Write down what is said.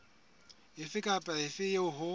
efe kapa efe eo ho